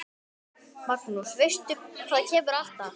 Magnús: Veistu hvað kemur alltaf?